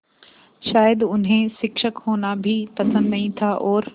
शायद उन्हें शिक्षक होना भी पसंद नहीं था और